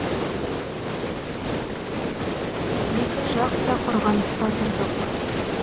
екі жақ та қорғаныста тұрдық